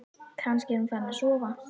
Kannski er hún farin að sofa.